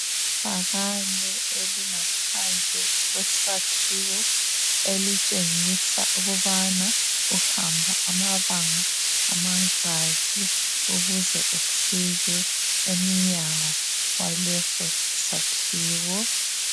Ibhakane elingaphandle kwesakhiwo elitshengisa ukubana uhamba amabanga amangaki ukuze ufike emnyango waleso sakhiwo.